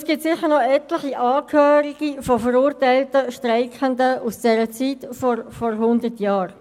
Es gibt bestimmt noch etliche Angehörige von verurteilten Streikenden aus der Zeit von vor hundert Jahren.